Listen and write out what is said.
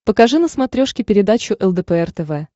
покажи на смотрешке передачу лдпр тв